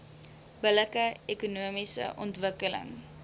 billike ekonomiese ontwikkeling